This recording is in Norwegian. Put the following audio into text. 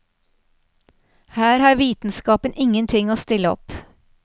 Her har vitenskapen ingenting å stille opp.